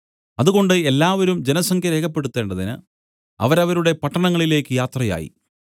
അതുകൊണ്ട് എല്ലാവരും ജനസംഖ്യ രേഖപ്പെടുത്തേണ്ടതിന് അവരവരുടെ പട്ടണങ്ങളിലേക്ക് യാത്രയായി